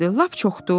Lap çoxdur?